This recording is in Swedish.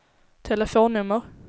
telefonnummer